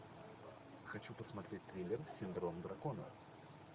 хочу посмотреть триллер синдром дракона